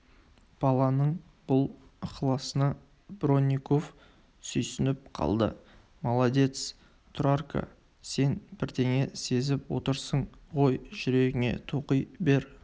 баланың бұл ықыласына бронников сүйсініп қалды молодец тұрарка сен бірдеңе сезіп отырсың ғой жүрегіңе тоқи бер